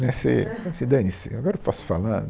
Né se se dane-se, agora eu posso falar.